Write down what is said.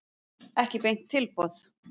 Ekki beint tilboð.